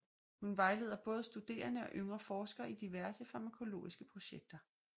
Hun vejleder både studerende og yngre forskere i diverse farmakologiske projekter